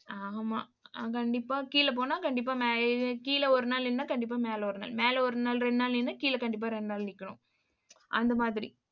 ஆமா, நான் கண்டிப்பா கீழே போனா கண்டிப்பா மே~ கீழே ஒரு நாள் இருந்தா கண்டிப்பா மேலே ஒரு நாள் மேலே ஒரு நாள் இரண்டு நாள் நின்னு கீழே கண்டிப்பா இரண்டு நாள் நிக்கணும். அந்த மாதிரி.